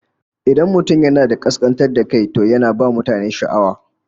Idan mutum yana da kaskantar da kai, to yana ba mutane sha'awa